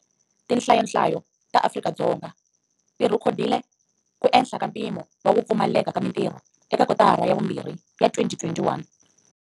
Tinhlayonhlayo ta Afrika-Dzonga ti rhekodile ku ehla ka mpimo wa ku pfumaleka ka mitirho eka kotara ya vumbirhi ya 2021.